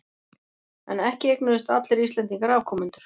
En ekki eignuðust allir Íslendingar afkomendur.